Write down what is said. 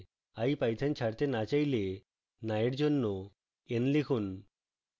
ipython ছাড়তে no চাইলে no এর জন্য n লিখুন